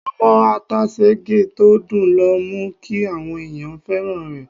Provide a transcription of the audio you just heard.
Ọmọ ata Sègí tó dùn ló mú kí àwọn èèyàn fẹ́ràn rẹ̀.